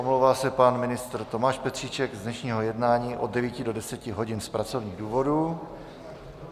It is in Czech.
Omlouvá se pan ministr Tomáš Petříček z dnešního jednání od 9 do 10 hodin z pracovních důvodů.